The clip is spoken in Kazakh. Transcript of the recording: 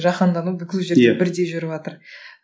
жахандану бүкіл жерде иә бірдей жүріватыр